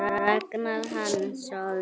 Ragnar Hansson